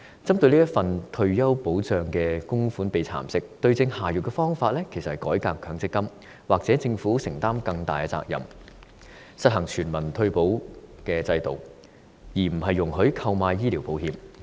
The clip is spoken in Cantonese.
針對退休保障供款被蠶食的問題，對症下藥的方法就是改革強積金，或由政府承擔更大責任，實行全民退保制度，而非容許用強積金購買醫療保險。